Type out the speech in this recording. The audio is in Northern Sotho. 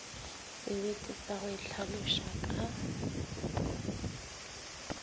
sebete sa go itlhaloša ka